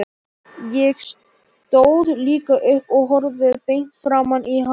Ég stóð líka upp og horfði beint framan í hana.